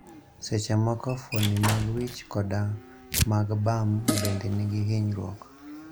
Sechemoko, fuondni mag wich koda mag bam bende nigi hinyruok.